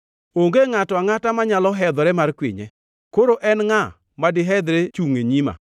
Onge ngʼato angʼata manyalo hedhore mar kwinye. Koro en ngʼa madihedhre chungʼ e nyima?